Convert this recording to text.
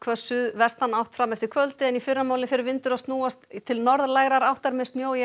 suðvestanátt fram eftir kvöldi en í fyrramálið fer vindur að snúast til norðlægrar áttar með